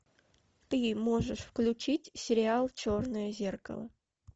ты можешь включить сериал черное зеркало